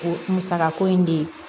O musakako in de ye